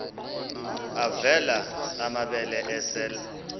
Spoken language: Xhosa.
avela amabele esel